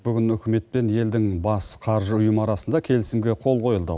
бүгін үкімет пен елдің бас қаржы ұйымы арасында келісімге қол қойылды